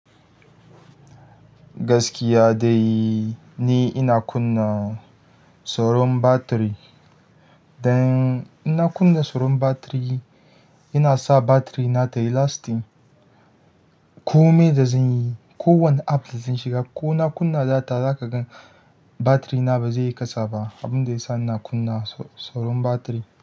Gaskiya dai ni ina kunna tsaron batiri. Dan in na kunna tsaron batiri, yana sa batiri na tayi lasting. Ko me da zan yi, ko wane app da zan shiga, ko na kunna data, zaka gan batiri na ba zai yi kasa ba abun da ya sa ina kunna tsaron batiri.